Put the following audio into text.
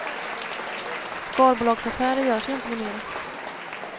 Skalbolagsaffärer görs ju inte numera.